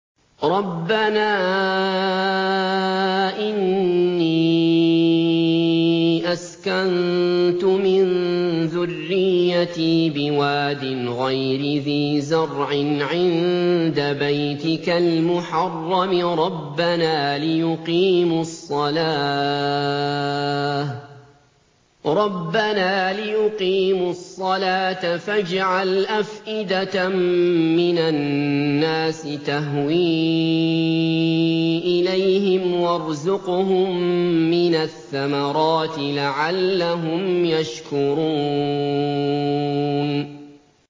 رَّبَّنَا إِنِّي أَسْكَنتُ مِن ذُرِّيَّتِي بِوَادٍ غَيْرِ ذِي زَرْعٍ عِندَ بَيْتِكَ الْمُحَرَّمِ رَبَّنَا لِيُقِيمُوا الصَّلَاةَ فَاجْعَلْ أَفْئِدَةً مِّنَ النَّاسِ تَهْوِي إِلَيْهِمْ وَارْزُقْهُم مِّنَ الثَّمَرَاتِ لَعَلَّهُمْ يَشْكُرُونَ